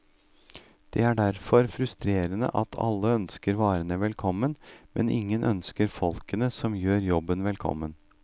Det er derfor frustrerende at alle ønsker varene velkommen, men ingen ønsker folkene som gjør jobben velkommen.